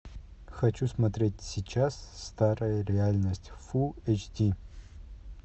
хочу смотреть сейчас старая реальность фулл эйч ди